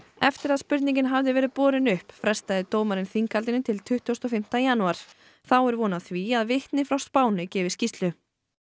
eftir að spurningin hafði verið borin upp frestaði dómarinn þinghaldinu til tuttugasta og fimmta janúar þá er von á því að vitni frá Spáni gefi skýrslu